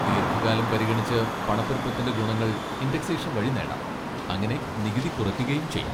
ദീർഘകാലം പരിഗണിച്ച് പണപ്പെരുപ്പത്തിൻ്റെ ഗുണങ്ങൾ ഇൻഡെക്സേഷൻ വഴി നേടാം, അങ്ങനെ നികുതി കുറയ്ക്കുകയും ചെയ്യാം.